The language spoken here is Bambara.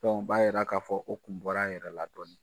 o b'a jira k'a fɔ o tun bɔra a yɛrɛ la dƆɔnin.